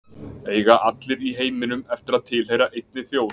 Eiga allir í heiminum eftir að tilheyra einni þjóð?